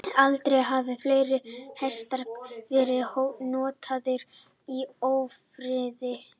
Aldrei hafa fleiri hestar verið notaðir í ófriði.